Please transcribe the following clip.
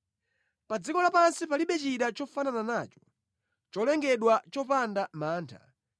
Pa dziko lapansi palibe china chofanana nacho, nʼcholengedwa chopanda mantha.